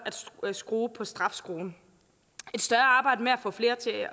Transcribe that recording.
ved at skrue på strafskruen et større arbejde med at få flere til at